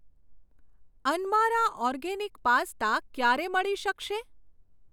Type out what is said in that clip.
અનમારા organic pasta ક્યારે મળી શકશે?